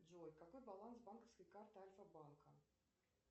джой какой баланс банковской карты альфа банка